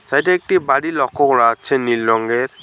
এইটা একটা বাড়ি লক্ষ্য করা যাচ্ছে নীল রংয়ের।